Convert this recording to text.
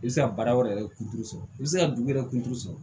I bɛ se ka baara wɛrɛ yɛrɛ kunturu sɔrɔ i bɛ se ka dugu wɛrɛ kunturu sɔrɔ